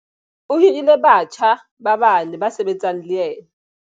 O hirile batjha ba bane ba sebetsang le yena.